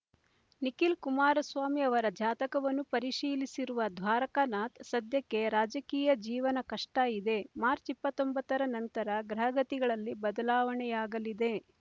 ನಿಖಿಲ್ ಕುಮಾರಸ್ವಾಮಿ ಅವರ ಜಾತಕವನ್ನು ಪರಿಶೀಲಿಸಿರುವ ದ್ವಾರಕನಾಥ್ ಸದ್ಯಕ್ಕೆ ರಾಜಕೀಯ ಜೀವನ ಕಷ್ಟ ಇದೆ ಮಾರ್ಚ್ ಇಪ್ಪತ್ತೊಂಬತ್ತರ ನಂತರ ಗ್ರಹಗತಿಗಳಲ್ಲಿ ಬದಲಾವಣೆಯಾಗಲಿದೆ